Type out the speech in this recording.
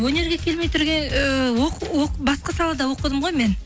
өнерге келмей басқа салада оқыдым ғой мен